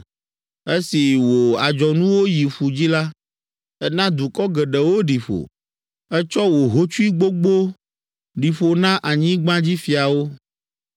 Esi wò adzɔnuwo yi ƒu dzi la, èna dukɔ geɖewo ɖi ƒo. Ètsɔ wò hotsui gbogbo ɖi ƒo na anyigbadzifiawo.